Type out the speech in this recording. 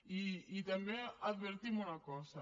i també advertim una cosa